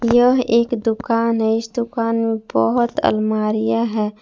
यह एक दुकान है इस दुकान में बहोत अलमारियां है।